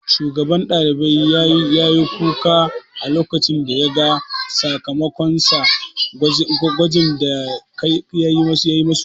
Shugaban ɗalibai ya yi kuka a lokacin da ya ga sakamakon sa a gwajin da akayi ma su